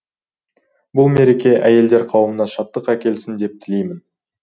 бұл мереке әйелдер қауымына шаттық әкелсін деп тілеймін